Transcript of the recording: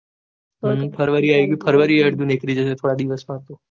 હમ february આયી ગયું february અડધું નીકળી જશે થોડા દિવસ માં